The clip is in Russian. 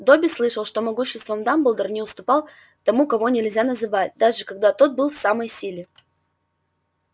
добби слышал что могуществом дамблдор не уступал тому кого нельзя называть даже когда тот был в самой силе